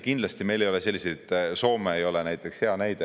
Kindlasti meil ei ole selliseid probleeme nagu Soomes.